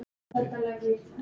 Mikið fólk.